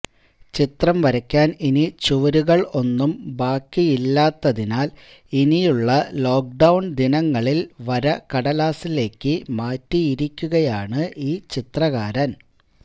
ചിത്രം വരയ്ക്കാൻ ഇനി ചുവരുകൾ ഒന്നും ബാക്കിയില്ലാത്തതിനാൽ ഇനിയുള്ള ലോക്ക് ഡൌൺ ദിനങ്ങളിൽ വര കടലാസിലേക്ക് മാറ്റിയിരിക്കുകയാണ് ഈ ചിത്രകാരൻ